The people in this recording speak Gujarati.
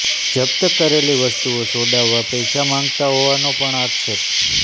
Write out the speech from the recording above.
જપ્ત કરેલી વસ્તુઓ છોડાવવા પૈસા માંગતા હોવાનો પણ આક્ષેપ